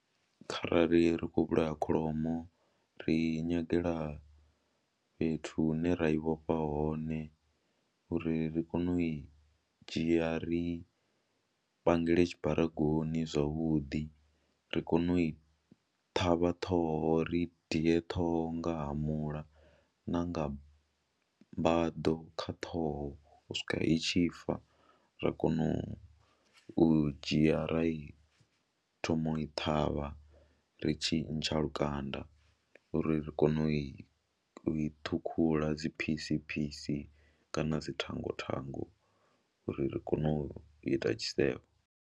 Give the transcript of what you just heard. Kharali ri khou vhulaya kholomo ri i nyagela fhethu hune ra i vhofha hone uri ri kone u i dzhia ri pangele tshibaragoni zwavhuḓi, ri kone u i ṱhavha ṱhoho ri i diye ṱhoho nga hamula na nga mbaḓo kha ṱhoho u swikela i tshi fa, ra kona u dzhia ra i thoma u i ṱhavha ri tshi ntsha lukanda uri ri kone u i i ṱhukhula dzi phisi phisi kana dzi thango thango uri ri kone u ita tshisevho.